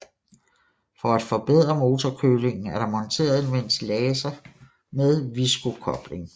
For at forbedre motorkølingen er der monteret en ventilator med Viscokobling